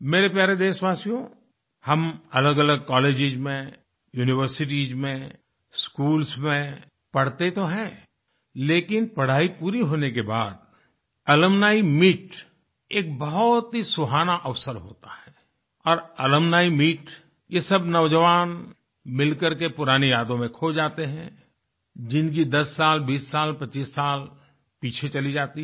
मेरे प्यारे देशवासियो हम अलगअलग कॉलेजेस में यूनिवर्सिटीज में स्कूल्स में पढ़ते तो हैं लेकिन पढाई पूरी होने के बाद अलुम्नी मीत एक बहुत ही सुहाना अवसर होता है और अलुम्नी मीतये सब नौजवान मिलकर के पुरानी यादों में खो जाते हैंजिनकी 10 साल 20 साल 25 साल पीछे चली जाती हैं